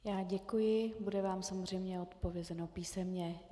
Já děkuji, bude vám samozřejmě odpovězeno písemně.